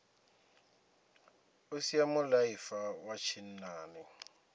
o sia mulaifa wa tshinnani